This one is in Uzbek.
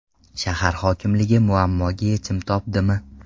Shahar hokimligi muammoga yechim topdimi?.